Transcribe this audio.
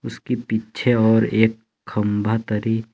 उसकी पीछे और एक खंबा दरी--